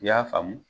I y'a faamu